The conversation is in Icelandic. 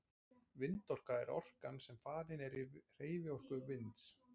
Vindorka er orkan sem falin er í hreyfiorku vinds.